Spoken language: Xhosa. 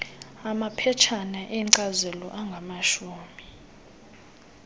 maphetshana enkcazelo angamashumi